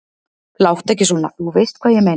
Láttu ekki svona. þú veist hvað ég meina.